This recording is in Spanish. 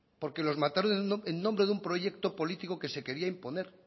porque los mataron en nombre de un proyecto político que se quería imponer